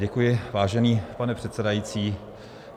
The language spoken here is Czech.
Děkuji, vážený pane předsedající.